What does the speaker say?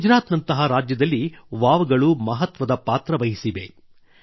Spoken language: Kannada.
ಗುಜರಾತ್ ನಂತಹ ರಾಜ್ಯದಲ್ಲಿ ವಾವ್ ಗಳು ಮಹತ್ವದ ಪಾತ್ರ ವಹಿಸಿವೆ